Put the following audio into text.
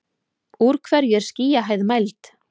úr hverju er skýjahæð mæld